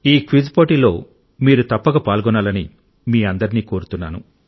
ఈ క్విజ్ పోటీలో మీరు తప్పక పాల్గొనాలని మీ అందరినీ కోరుతున్నాను